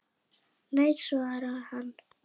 Nei, svaraði hann.